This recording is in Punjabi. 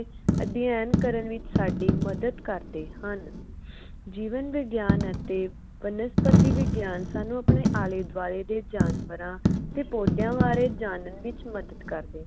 ਅਧਿਅਨ ਕਰਨ ਵਿਚ ਸਾਡੀ ਮਦਦ ਕਰਦੇ ਹਨ ਜੀਵਨ ਵਿਗਿਆਨ ਅਤੇ ਬਨਸਪਤੀ ਵਿਗਿਆਨ ਸਾਨੂ ਆਪਣੇ ਆਲੇ ਦਵਾਲੇ ਦੇ ਜਾਨਵਰਾਂ ਤੇ ਪੌਦਿਆਂ ਬਾਰੇ ਜਾਨਣ ਵਿਚ ਮਦਦ ਕਰਦੇ